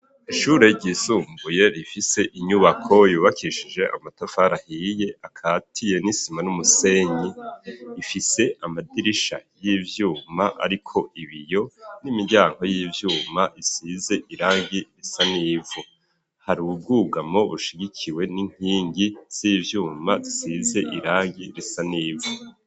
Ishure ryisumbuye rifise inyubako yubakishije amatafari ahiye, akatiye n'isima n'umusenyi, ifise amadirisha y'ivyuma ariko ibiyo n'imiryango y'ivyuma isize irangi risa n'ivu. Hari ubwugamo bushigikiwe n'inkingi z'ivyuma zisize irangi risa n'ivu.